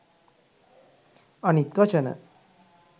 අනිත් වචන